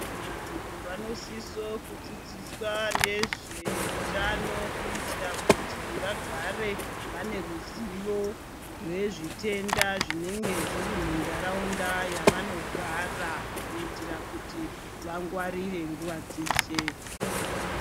Vanthu vanosisoukudzidziswa nezveutano kuitira kuti vagare vane ruzivo rwezvitenda zvinenge zviri muntharaunda mwavanoogara kuitira kuti vangwarire nguva dzeshe.